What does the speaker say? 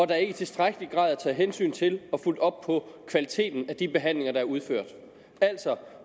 der ikke i tilstrækkelig grad er taget hensyn til og fulgt op på kvaliteten af de behandlinger der er udført